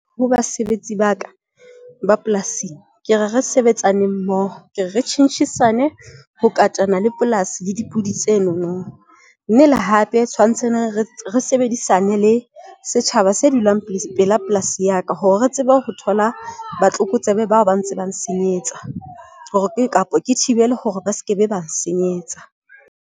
Ho basebetsi baka ba polasing, ke re re sebetsaneng mmoho. Ke re re tjhentjhisane ho katana le polasi le dipudi tse no no. Mme le hape tswantse re sebedisane le setjhaba se dulang pela polasi ya ka hore re tsebe ho thola batlokotsebe bao ba ntse bang senyetsa hore kapa ke thibele hore ba skebe bang senyetsa.